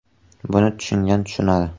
Buni tushungan tushunadi.